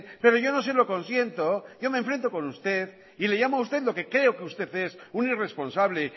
pero yo no se lo consiento yo me enfrento con usted y le llamo a usted lo que creo que usted es un irresponsable